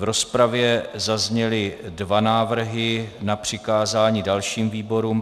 V rozpravě zazněly dva návrhy na přikázání dalším výborům.